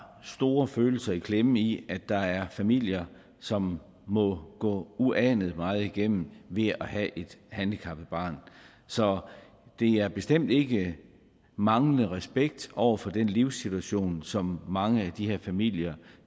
store følelser i klemme i at der er familier som må gå uanet meget igennem ved at have et handicappet barn så det er bestemt ikke manglende respekt over for den livssituation som mange af de her familier